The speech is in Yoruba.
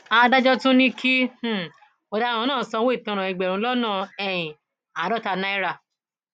adájọ tún ní kí um ọdaràn náà sanwó ìtanràn ẹgbẹrún lọnà um àádọta náírà